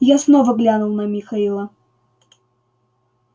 я снова глянул на михаила